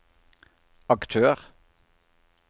aktør